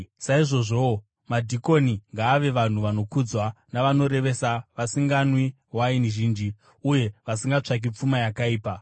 Saizvozvowo, madhikoni ngavave vanhu vanokudzwa, vanorevesa, vasinganwi waini zhinji, uye vasingatsvaki pfuma yakaipa.